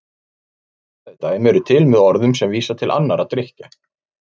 Hliðstæð dæmi eru til með orðum sem vísa til annarra drykkja.